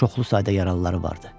Çoxlu sayda yaralıları vardı.